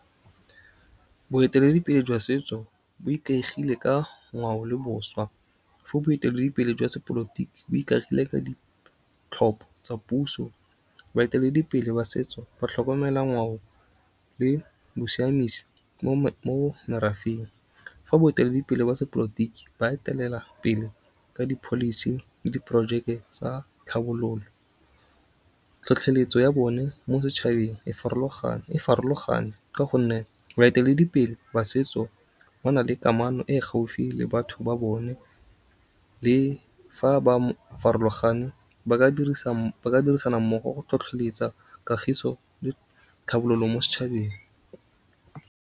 Boeteledipele jwa setso, bo ikaegile ka ngwao le boswa, fa boeteledipele jwa sepolotiki bo ikagile ka ditlhopho tsa puso. Baeteledipele ba setso ba thlokomela ngwao le bosiamisi mo merafeng. Fa boeteledipele ba sepolotiki ba etelela pele ka di policy le di project tsa tlhabololo. Tlhotlheletso ya bone mo setšhabeng e farologane ka gonne baeteledipele ba setso ba na le kamano e gaufi le batho ba bone, le fa ba farologane ba ka dirisana mmogo go tlhotlheletsa kagiso le tlhabololo mo setšhabeng.